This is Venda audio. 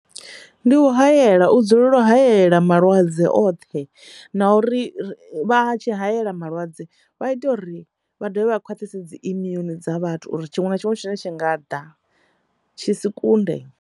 Ndi u hayela u dzulela u hayela malwadze oṱhe na uri vha tshi hayela malwadze vha ite uri vha dovha khwaṱhise dzi immune dza vhathu uri tshiṅwe na tshiṅwe tshine tshi nga ḓa tshi si kunde.